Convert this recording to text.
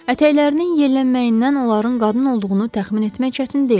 Ətəklərinin yellənməyindən onların qadın olduğunu təxmin etmək çətin deyildi.